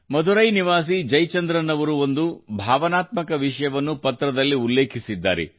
ಮಧುರೈ ನಿವಾಸಿ ಜಯಚಂದ್ರನ್ ಅವರು ಒಂದು ಭಾವನಾತ್ಮಕ ವಿಷಯವನ್ನು ಪತ್ರದಲ್ಲಿ ಉಲ್ಲೇಖಿಸಿದ್ದಾರೆ